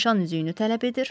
Nişan üzüyünü tələb edir.